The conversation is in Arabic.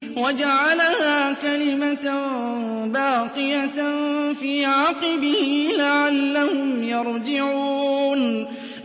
وَجَعَلَهَا كَلِمَةً بَاقِيَةً فِي عَقِبِهِ لَعَلَّهُمْ يَرْجِعُونَ